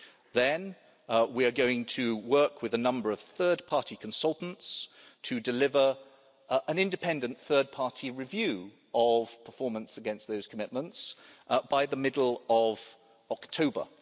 Then we are going to work with a number of third party consultants to deliver an independent third party review of performance against those commitments by the middle of October.